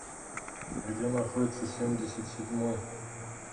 где находится семьдесят седьмой